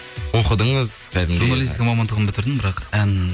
оқыдыңыз кәдімгідей журналистика мамандығын бітірдім бірақ ән